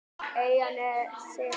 Eyjanesi